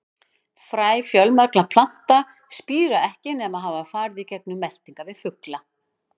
Fræ fjölmargra plantna spíra ekki nema hafa farið í gegnum meltingarveg fugla.